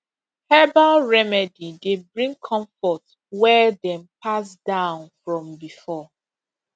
herbal remedy dey bring comfort wey dem pass down from before